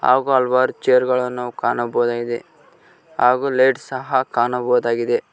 ಹಾಗೂ ಹಲವಾರು ಚೇರು ಗಳನ್ನು ನಾವು ಕಾಣಬಹುದಾಗಿದೆ ಹಾಗೂ ಲೈಟ್ ಸಹ ಕಾಣಬಹುದಾಗಿದೆ.